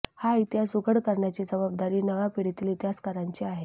हा इतिहास उघड करण्याची जबाबदारी नव्या पिढीतील इतिहासकारांची आहे